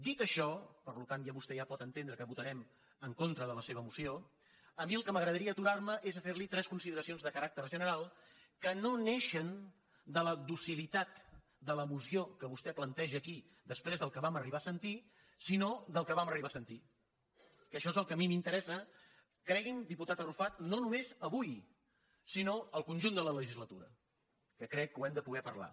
dit això per tant vostè ja pot entendre que votarem en contra de la seva moció a mi en el que m’agradaria aturar me és a fer li tres consideracions de caràcter general que no neixen de la docilitat de la moció que vostè planteja aquí després del que vam arribar a sentir sinó del que vam arribar a sentir que això és el que a mi m’interessa cregui’m diputat arrufat no només avui sinó al conjunt de la legislatura que crec que ho hem de poder parlar